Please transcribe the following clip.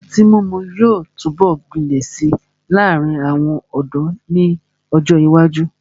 Ọtí mímu yóò túbọ̀ gbilẹ̀ si láàrin àwọn ọ̀dọ́ ni ọ́jọ ìwájú.